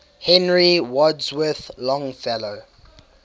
henry wadsworth longfellow